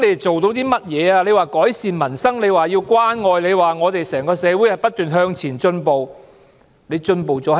政府說要改善民生、建設關愛社會，又說整個社會要不斷向前進步。